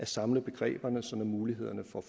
samle begreberne så mulighederne for